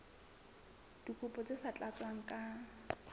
dikopo tse sa tlatswang ka